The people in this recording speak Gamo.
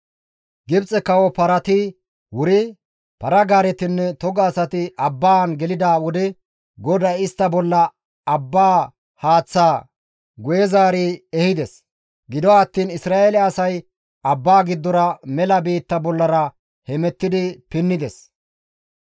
Gibxe kawo parati wuri, para-gaaretinne toga asati abbaan gelida wode GODAY istta bolla abba haaththaa guye zaari ehides; gido attiin Isra7eele asay abbaa giddora mela biitta bollara hemettidi pinnides.